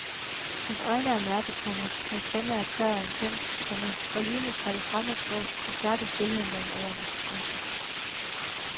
Hans øjne er mørke, komma hans stemme er tør og intens, komma og lydene fra det fremmede sprog forstærker stilheden mellem ordene. punktum